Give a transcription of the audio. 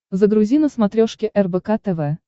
загрузи на смотрешке рбк тв